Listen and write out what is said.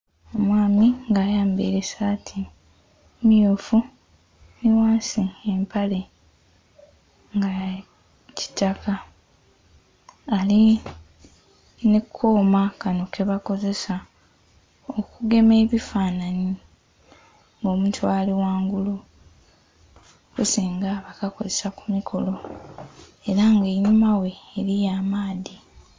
Omwami nga ayambeile saati mmyufu nhi ghansi empale nga yakitaka alinha koma kano kebakozesa okugema ebifanhanhi nga omuntu alighangulu okusinga bakakozesa kumiro era nga einhuma ghe eriyo amaadhi.